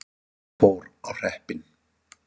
Það fór á hreppinn.